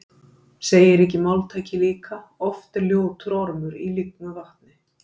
Segir ekki máltækið líka: Oft er ljótur ormur í lygnu vatni